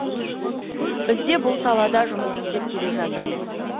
біз де бұл салада жұмыс істеп келе жатырмыз